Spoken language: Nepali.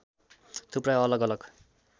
थुप्रै अलग अलग